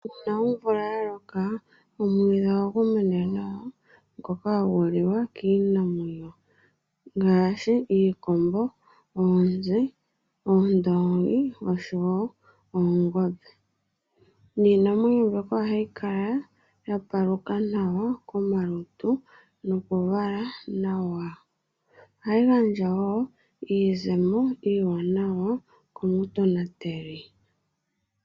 Uuna omvula yaloka omwiidhi ohagu mene nawa ngoka hagu liwa kiinamwenyo ngaashi iikombo, oonzi, oshowo oongombe. Iinamwenyo mbyoka ohayi kala ya paluka nawa komalutu nokuvala nawa. Ohayi gandja wo iizemo iiwanawa komutonateli.